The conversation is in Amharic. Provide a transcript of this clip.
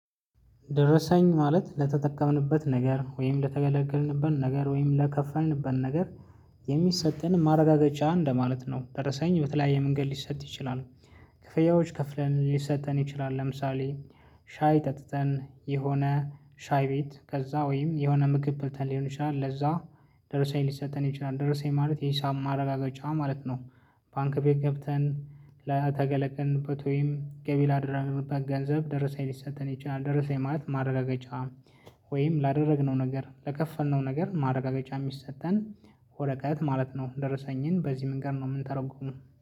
ደረሰኝ ማለት ለተጠቀምንበት ነገር ወይም ለተገለገልንበት ነገር ወይም ለከፈልንበት ነገር የሚሰጠን ማረጋገጫ እንደማለት ነው ደረሰኝ በተለያየ መንገድ ሊሰጥ ይችላል። ክፍያዎች ከፍለን ሊሰጠተን ይችላል ለምሳሌ። ሻይ ጠጥተን የሆነ ሻይ ቤት ከዛ ወይም የሆነ ምግብ በልተን ሊሆን ይችላል። ለዛ ደርሰኝ ሊሰጠተን ይችላል። ደርሰኝ ማለት የሂሳብ ማረጋገጫ ማለት ነው። ባንክ ቤት ገብተን ለተገለገልንበት ወይም ገቢ ላደርግበት ገንዘብ ደረሰኝ ሊሰጥን ይችላል። ደረሰኝ ማለት ማረጋገጫ። ወይም ላደረግነው ነገር ለከፈልነው ነገር ማረጋገጫ የሚሰጠን ወረቀት ማለት ነው። ደረሰኝን በዚህ መንገድ ነው የምንተረጉመው